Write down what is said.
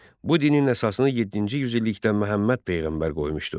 Bu dinin əsasını yeddinci yüzillikdə Məhəmməd peyğəmbər qoymuşdu.